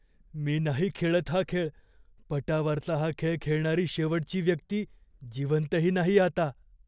मी नाही खेळत हा खेळ. पटावरचा हा खेळ खेळणारी शेवटची व्यक्ती जिवंतही नाही आता.